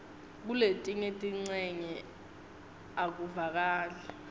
kuletinye tincenye akuvakali